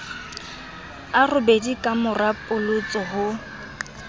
a robedi kamora polotso ho